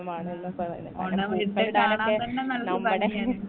ആ ഓണം വല്യ കാണാൻ തന്നെ നല്ലൊരു ഭംഗിയാണ്